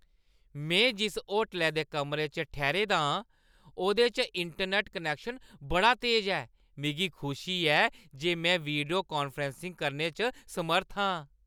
में जिस होटलै दे कमरे च ठैह्‌रे दा आं, ओह्दे च इंटरनैट्ट कनैक्शन बड़ा तेज ऐ। मिगी खुशी ऐ जे में वीडियो-कान्फ्रैंसिंग करने च समर्थ आं।